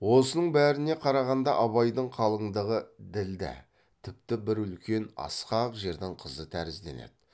осының бәріне қарағанда абайдың қалыңдығы ділдә тіпті бір үлкен асқақ жердің қызы тәрізденеді